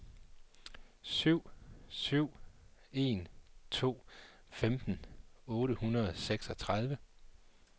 syv syv en to femten otte hundrede og seksogtredive